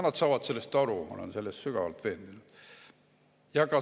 Nad saavad sellest aru, ma olen selles sügavalt veendunud.